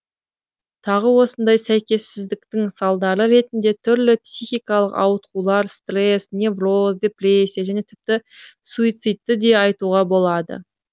тағы осындай сәйкессіздіктің салдары ретінде түрлі психикалық ауытқулар стресс невроз депрессия және тіпті суицидті де айтуға болады